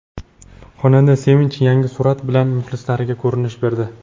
Xonanda Sevinch yangi surat bilan muxlislariga ko‘rinish berdi.